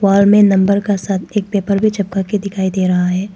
वाल में नंबर का साथ एक पेपर भी चपका के दिखाई दे रहा है।